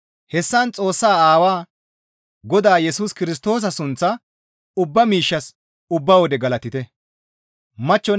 Hessan Xoossa Aawaa, Godaa Yesus Kirstoosa sunththaa ubba miishshas ubba wode galatite.